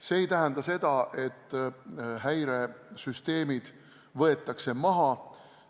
See ei tähenda seda, et häiresüsteemid võetakse maha.